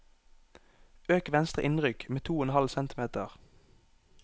Øk venstre innrykk med to og en halv centimeter